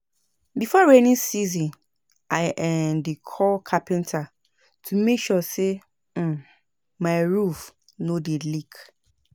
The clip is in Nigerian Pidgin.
Before rainy season, I um dey call carpenter to make sure sey um my roof no dey leak.